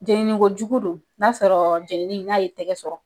Jeninikojugu don n'a sɔrɔ jenini n'a y'i tɛgɛ sɔrɔ.